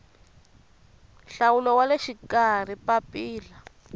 nhlawulo wa le xikarhi papila